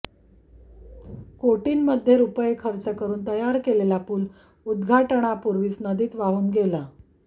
कोटींमध्ये रुपये खर्च करुन तयार केलेला पूल उद्घाटनापूर्वीच नदीत वाहून गेला